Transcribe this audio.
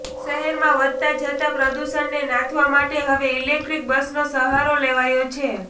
શહેરમાં વધતા જતા પ્રદૂષણને નાથવા માટે હવે ઈલેક્ટ્રિક બસનો સહારો લેવાયો છે